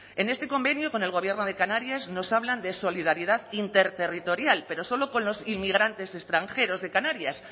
en este convenio con el gobierno de canarias nos hablan de solidaridad interterritorial pero solo con los inmigrantes extranjeros de canarias